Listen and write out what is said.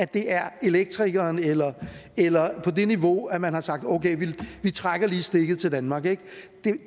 det er elektrikeren eller eller på det niveau man har sagt okay vi trækker lige stikket til danmark det